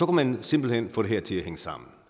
man simpelt hen få det her til at hænge sammen